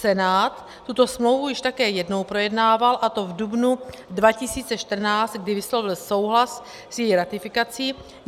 Senát tuto smlouvu již také jednou projednával, a to v dubnu 2014, kdy vyslovil souhlas s její ratifikací.